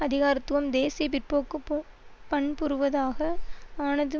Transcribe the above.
அதிகாரத்துவம் தேசிய பிற்போக்குப்பொ பண்புருவதாக ஆனது